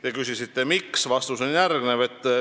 Te küsisite, miks me seda ei toeta.